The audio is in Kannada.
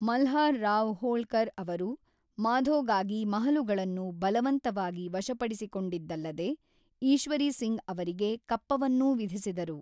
ಮಲ್ಹಾರ್ ರಾವ್ ಹೋಳ್ಕರ್ ಅವರು ಮಾಧೋಗಾಗಿ ಮಹಲುಗಳನ್ನು ಬಲವಂತವಾಗಿ ವಶಪಡಿಸಿಕೊಂಡಿದ್ದಲ್ಲದೆ, ಈಶ್ವರೀ ಸಿಂಗ್ ಅವರಿಗೆ ಕಪ್ಪವನ್ನೂ ವಿಧಿಸಿದರು.